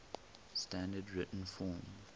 standard written form